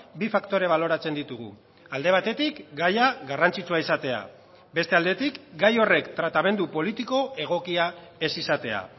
bi faktore baloratzen ditugu alde batetik gaia garrantzitsua izatea beste aldetik gai horrek tratamendu politiko egokia ez izatea